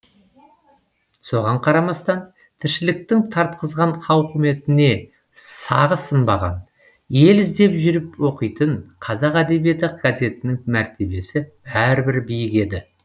соған қарамастан тіршіліктің тартқызған тауқыметіне сағы сынбаған ел іздеп жүріп оқитын қазақ әдебиеті газетінің мәртебесі бәрібір биік еді